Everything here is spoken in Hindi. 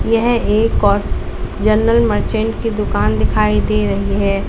यह एक और जनरल मर्चेंट की दुकान दिखाई दे रही है।